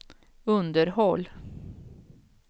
underhåll